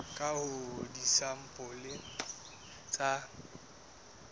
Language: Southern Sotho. ka ho nka disampole tsa